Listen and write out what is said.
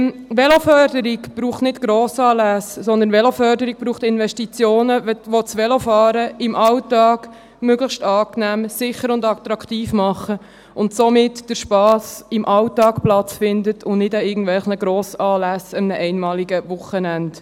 Veloförderung braucht nicht Grossanlässe, sondern Investitionen, die das Velofahren im Alltag möglichst angenehm, sicher und attraktiv machen, damit der Spass im Alltag Platz findet und nicht an irgendwelchen Grossanlässen an einem einmaligen Wochenende.